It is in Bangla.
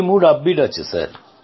সবারই মনোবল তুঙ্গে আছে